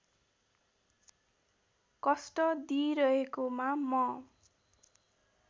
कष्ट दिइरहेकोमा म